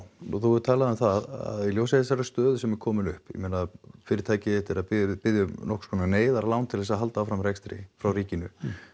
og þú hefur talað um það að í ljósi þessarar stöðu sem er komin upp ég meina fyrirtækið þitt er að biðja biðja um einhverskonar neyðarlán til þess að halda áfram rekstri frá ríkinu